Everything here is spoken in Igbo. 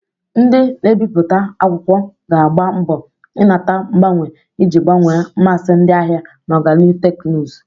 Ndị na-ebipụta akwụkwọ ga-agba mbo inata mgbanwe iji gbanwee mmasị ndị ahịa na ọganihu teknụzụ.